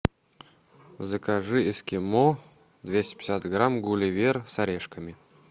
закажи эскимо двести пятьдесят грамм гулливер с орешками